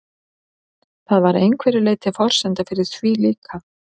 Það var að einhverju leyti forsenda fyrir því líka.